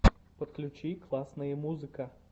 подключи классные музыка